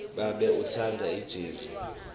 babe utsandza ijezi